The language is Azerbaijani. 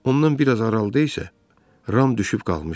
Ondan biraz aralıda isə Ram düşüb qalmışdı.